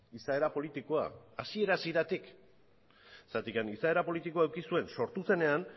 izaera politikoa hasiera hasieratik zergatik izaera politiko eduki zuen sortu zenean